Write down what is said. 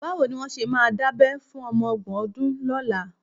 Báwo ni wọ́n ṣe máa dábẹ́ fún ọmọ ọgbọ̀n ọdún lọ́la?